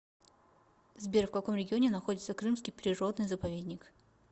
сбер в каком регионе находится крымский природный заповедник